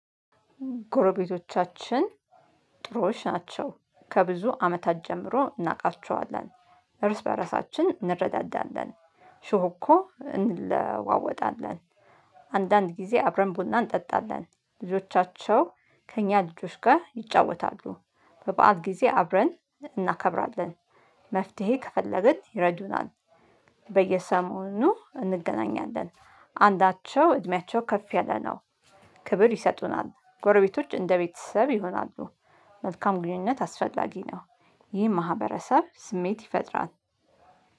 ጎረቤቶቻችን ጥሩዎች ናቸው። ከብዙ አመታት ጀምሮ እናውቃቸዋለን። እርስ በራሳችን እንረዳዳለን ሽሁ እኮ እንለዋወጣለን። አንዳንድ ጊዜ አብረን ቡና እንጠጣለን። ልጆቻቸው ከእኛ ልጆች ጋር ይጫወታሉ። በበዓል ጊዜ አብረን እናከብራለን። መፍትሄ ከፈለግን ይረዱናል። በየሰሞኑኑ እንገናኛለን። አንዳቸው እድሜያቸው ከፍ ያለ ነው ክብር ይሰጡናል። ጎረቤቶች እንደ ቤተሰብ ይሆናሉ። መልካም ግንኙነት አስፈላጊ ነው። ይህ ማህበረሰብ ስሜት ይፈጥራል።